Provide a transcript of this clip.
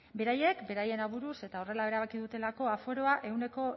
beraiek beraien aburuz eta horrela erabaki dutelako aforoa ehuneko